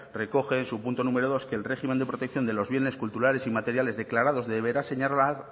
recoge en su punto número dos que el régimen de protección de los bienes culturales inmateriales declarados deberá señalar